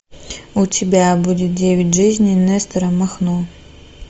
у тебя будет девять жизней нестора махно